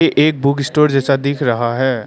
ए एक बुकस्टोर जैसा दिख रहा है।